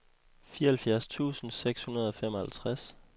fireoghalvfjerds tusind seks hundrede og femoghalvtreds